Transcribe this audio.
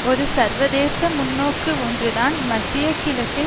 ஒரு சர்வதேச முன்னோக்கு ஒன்றுதான் மத்திய கிழக்கில்